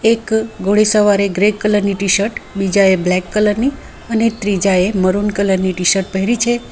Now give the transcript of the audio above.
એક ઘોડે સવારે ગ્રે કલર ની ટીશર્ટ બીજાએ બ્લેક કલર ની અને ત્રીજાએ મરૂન કલર ની ટીશર્ટ પહેરી છે.